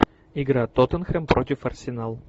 игра тоттенхэм против арсенал